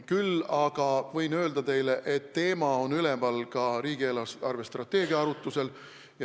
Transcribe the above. Küll aga võin öelda, et teema on üleval ka riigi eelarvestrateegia arutusel.